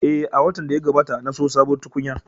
Eh, a watan da ya gabata na siyo sabuwar tukunya